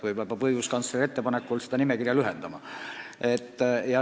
Võib-olla peab õiguskantsleri ettepanekul seda nimekirja lühendama.